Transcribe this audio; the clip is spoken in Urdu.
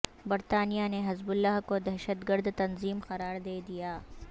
برطانیہ نے حزب اللہ کو دہشتگرد تنظیم قرار دے دیا